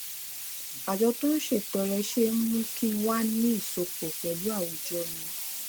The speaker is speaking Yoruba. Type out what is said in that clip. àjọ tó ń ṣètọrẹ ṣe ń mú kí n wà ní ìsopò pẹlú àwùjọ mi